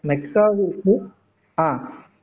next ஆஹ்